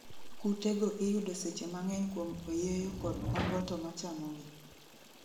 Kute go iyudo seche mang'eny kuom oyeyo kod omboto ma chamogi